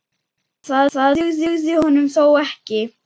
Það dugði honum þó ekki.